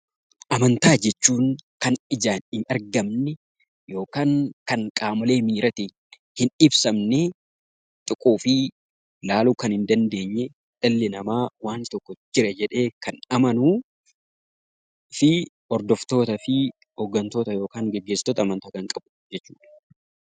Amantaa jechuun kan ijaan hin mul'anne yookiin kan qaamolee miiraatiin hin ibsamne, tuquu fi ilaaluu kan hin dandeenye dhalli namaa Jira jedhee kan amanu fi hordoftootaa fi gaggeessitoota qan qabu jechuudha.